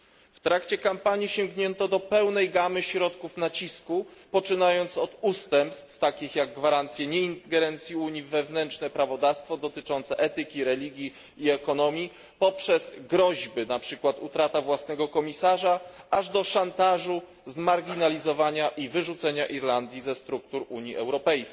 W trakcie kampanii sięgnięto do pełnej gamy środków nacisku, poczynając od ustępstw, takich jak gwarancje nieingerencji Unii w wewnętrzne prawodawstwo dotyczące etyki, religii i ekonomii, poprzez groźby, jak na przykład utrata własnego komisarza, aż do szantażu zmarginalizowania i wyrzucenia Irlandii ze struktur UE.